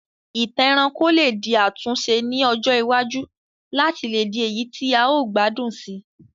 Ìtàn ẹranko lé di àtúnse ni ọjọ iwájú láti le di èyí ti a o gbádùn sii